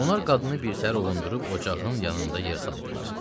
Onlar qadını birtəhər ovundurub ocağın yanında yer saldılar.